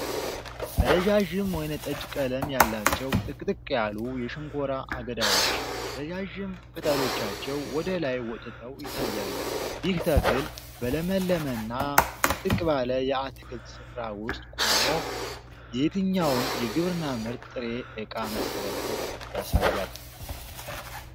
ረዣዥም ወይንጠጅ ቀለም ያላቸው ጥቅጥቅ ያሉ የሸንኮራ አገዳዎች፣ ረዣዥም ቅጠሎቻቸው ወደ ላይ ወጥተው ይታያሉ፤ ይህ ተክል በለምለምና ጥቅጥቅ ባለ የአትክልት ስፍራ ውስጥ ቆሞ የየትኛውን የግብርና ምርት ጥሬ ዕቃ መሠረትነት ያሳያል?